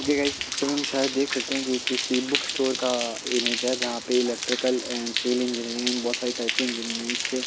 okay guys इस picture में हम शायद देख सखते है ये किसी बुक स्टोर का इमेज है जहाँ पे electrical and civil engineering and बहोत सारे टाइपके के इंजीनियरिंग के--